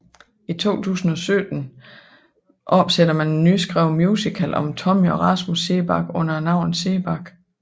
I 2017 opsætter man en nyskrevet musical om Tommy og Rasmus Seebach under navnet Seebach